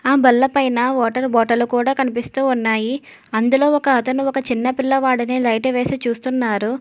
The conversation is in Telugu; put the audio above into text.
ఆ బల్ల పైన వాటర్ బాటలు కూడా కనిపిస్తూ ఉన్నాయి అందులో ఒక అతను ఒక చిన్న పిల్లవాడినే లైటు వేసి చూస్తున్నారు.